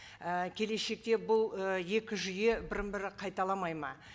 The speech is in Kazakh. і келешекте бұл ы екі жүйе бірін бірі қайталамайды ма